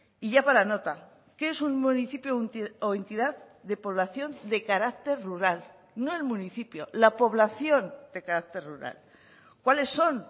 y ya para nota qué es un municipio o entidad de población de carácter rural no el municipio la población de carácter rural cuáles son